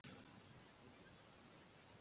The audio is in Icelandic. Sá hún eftir því?